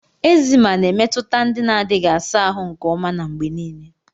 Eczema na-emetụta ndị na-adịghị asa ahụ nke ọma na mgbe niile.